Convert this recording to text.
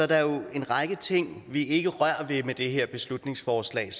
der jo en række ting vi ikke rører ved med det her beslutningsforslag